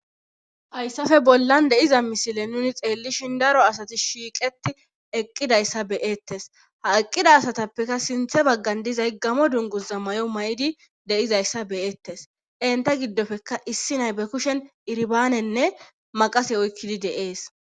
Hayssafe bollan deiza misile nuni xeellishin daro asati shiiqeti eqqidayssa beyettes ha eqqida asatappeka sinthe baggan dizay gamo dunguza may7o may7idi deizayssa beyettes enta giddofeka issi nay be kushen irbaanenne maqase oykkidi deees.